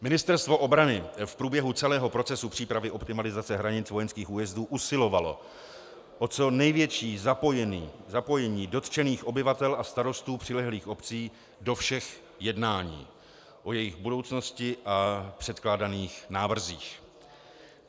Ministerstvo obrany v průběhu celého procesu přípravy optimalizace hranic vojenských újezdů usilovalo o co největší zapojení dotčených obyvatel a starostů přilehlých obcí do všech jednání o jejich budoucnosti a předkládaných návrzích.